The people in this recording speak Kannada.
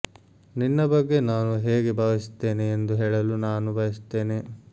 ನಿನ್ನ ಬಗ್ಗೆ ನಾನು ಹೇಗೆ ಭಾವಿಸುತ್ತೇನೆ ಎಂದು ಹೇಳಲು ನಾನು ಬಯಸುತ್ತೇನೆ